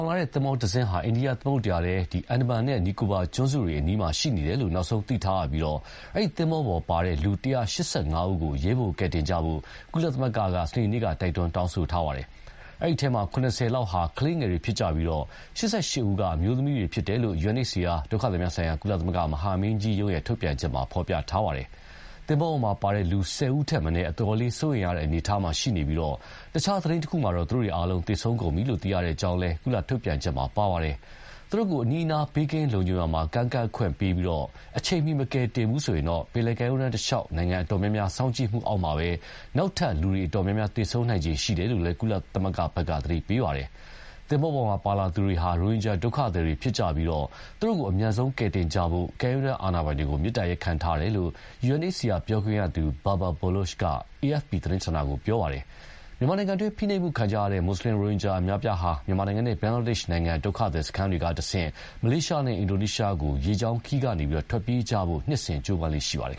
င်လာတဲ့သင်္ဘောတစင်းဟာ အိန္ဒိယသမုဒ္ဒရာထဲ အန်ဒါမန်နဲ့ နီကိုဘာကျွန်းစုတွေနားမှာရှိတယ်လို့ နောက်ဆုံးသိထားရပြီး အဲဒီသင်္ဘောပေါ်ပါတဲ့ လူ ၁၈၅ ဦးကို အရေးပေါ်ကယ်တင်ကြဖို့ ကုလသမဂ္ဂက စနေနေ့က တိုက်တွန်းတောင်းဆိုထားပါတယ်။ အဲဒီအထဲ ၇၀ လောက်ဟာ ကလေးငယ်တွေဖြစ်ပြီး ၈၈ ဦးက အမျိုးသမီးတွေဖြစ်တယ်လို့ UNHCR ဒုက္ခသည်များဆိုင်ရာ ကုလမဟာမင်းကြီးရုံး ထုတ်ပြန်ချက်မှာဖော်ပြပါတယ်။ သင်္ဘောပေါ်ပါတဲ့ လူ ၁၀ ဦးထက်မနည်းဟာ အတော်လေးစိုးရိမ်ရတဲ့အနေအထားမှာရှိပြီး တခြားသတင်းတခုမှာတော့ သေဆုံးကုန်ပြီလို့ သိရတဲ့အကြောင်းလည်း ကုလ ထုတ်ပြန်ချက်မှာပါရှိပါတယ်။ သူတို့ကို အနီးအနား ဘေးကင်းလုံခြုံရာမှာ ကမ်းကပ်ခွင့်ပေးပြီး အချိန်မီ မကယ်ဘူးဆိုရင် ပင်လယ်ကမ်းရိုးတန်းတလျှောက်မှာရှိကြတဲ့ နိုင်ငံအအတော်များများ စောင့်ကြည့်မှုအောက်မှာပဲ နောက်ထပ် အတော်များများ သေဆုံးနိုင်ခြေရှိတယ်လို့လည်း ကုလသမဂ္ဂက သတိပေးပါတယ်။ သင်္ဘောပေါ်ပါလာသူတွေဟာ ရိုဟင်ဂျာဒုက္ခသည်တွေဖြစ်ကြီးပြီး သူတို့ကို အမြန်ဆုံးကယ်တင်ကြဖို့ ကမ်းရိုးတန်းအာဏာပိုင်တွေကို မေတ္တာရပ်ခံထားတယ်လို့ UNHCR ပြောခွင့်ရသူ Babar Baloch က AFP သတင်းဌာနကို ပြောပါတယ်။ မြန်မာနိုင်ငံတွင်း ဖိနှိပ်မှုခံကြရတဲ့ မွတ်ဆလင်ရိုဟင်ဂျာအများအပြားဟာ မြန်မာနိုင်ငံနဲ့ ဘင်္ဂလားဒေ့ရ်ှနိုင်ငံ ဒုက္ခသည်စခန်းတွေကတဆင့် မလေးရှားနဲ့ အင်ဒိုနီးရှားကို ရေကြောင်းခရီးကနေ ထွက်ပြေးကြဖို့ နှစ်စဉ်ကြိုးပမ်းလေ့ရှိပါတယ်